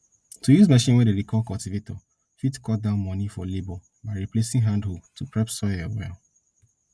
to use machine wey dem dey call cultivator fit cut down money for labour by replacing hand hoe to prep soil well